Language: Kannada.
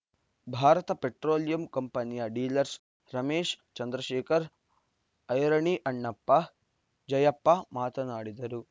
ಭಾರತ ಪೆಟ್ರೋಲಿಯಂ ಕಂಪನಿಯ ಡೀಲರ್ಸ್ ರಮೇಶ್‌ ಚಂದ್ರಶೇಖರ್‌ ಐರಣಿ ಅಣ್ಣಪ್ಪ ಜಯಪ್ಪ ಮಾತನಾಡಿದರು